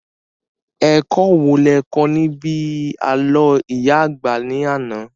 Ẹ̀kọ́ wo lo kọ́ níbi àlọ́ ìyá àgbà ní àná?